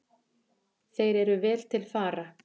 Þeir eru vel til fara.